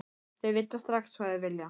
Þau vita strax hvað þau vilja.